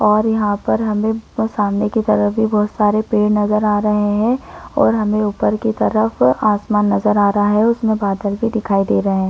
और यहाँ पर हमे सामने की तरफ बहुत भी पेड़ नजर आ रहे है और हमे ऊपर की तरफ आसमान नजर आ रहा है उसमे बादल भी दिखाई दे रहे--